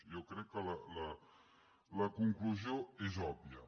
jo crec que la conclusió és òbvia